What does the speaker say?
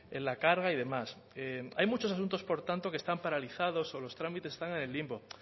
en la carga y demás hay muchos asuntos por tanto que están paralizados o los trámites están en el limbo